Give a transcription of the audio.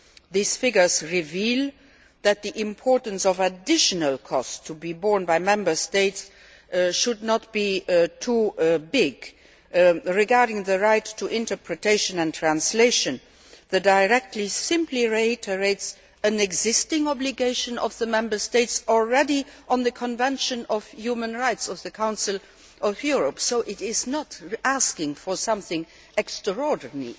These figures reveal that the additional costs to be borne by Member States should not be too great. Regarding the right to interpretation and translation, the directive simply reiterates an existing obligation of the Member States already in the Convention on Human Rights of the Council of Europe, so it is not asking for something extraordinary.